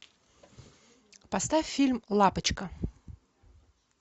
поставь фильм лапочка